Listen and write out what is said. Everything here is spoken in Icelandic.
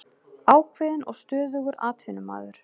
Ákveðinn og stöðugur atvinnumaður.